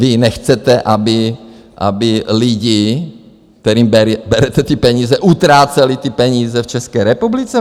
Vy nechcete, aby lidi, kterým berete ty peníze, utráceli ty peníze v České republice?